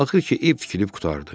Axır ki, ev tikilib qurtardı.